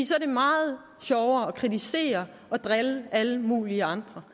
så er det meget sjovere at kritisere og drille alle mulige andre